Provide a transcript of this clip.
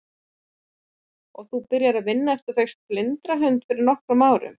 Og þú byrjaðir að vinna eftir að þú fékkst blindrahund fyrir nokkrum árum?